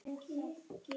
Elsku Elín Helga.